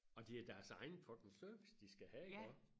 og det er deres egen fucking service de skal have iggå